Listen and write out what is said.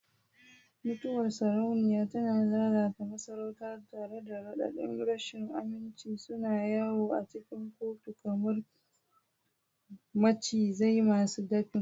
Mutuwar sarauniya tana lalata masarauta, tare da raɗaɗin rashin aminci suna yawo a cikin kotu kamar macizai masu dafin.